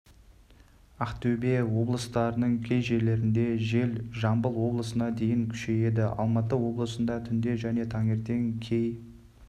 ақтөбе облыстарының кей жерлерінде жел жамбыл облысында дейін күшейеді алматы облысында түнде және таңертең кей